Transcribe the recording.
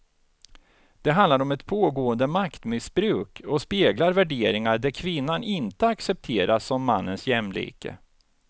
Det handlar om ett pågående maktmissbruk och speglar värderingar där kvinnan inte accepteras som mannens jämlike.